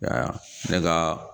Nka ne ka